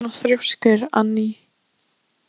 Af hverju ertu svona þrjóskur, Anný?